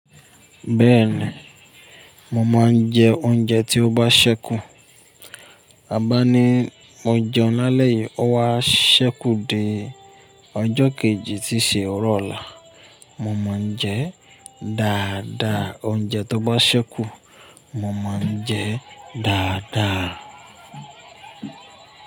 Bẹ́ẹ̀ni, mo máa ń jẹ oúnjẹ tí ó bá ṣẹ́kù. A bá ní mo jẹun lálẹ́ yìí, ó wá ṣẹ́kù dé ọjọ́ kejì tí í ṣe ọrọ̀ ọ̀la, mo máa ń jẹ dáadáa oúnjẹ tó bá ṣẹ́kù, mo máa ń jẹ dáadáa.